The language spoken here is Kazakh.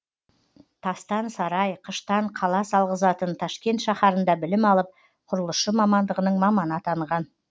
тастан сарай қыштан қала салғызатын ташкент шаһарында білім алып құрылысшы мамандығының маманы атанған